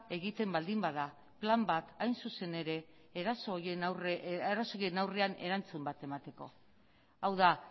egiten baldin bada plan bat hain zuzen ere eraso horien aurrean erantzun bat emateko hau da